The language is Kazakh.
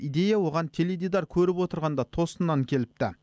идея оған теледидар көріп отырғанда тосыннан келіпті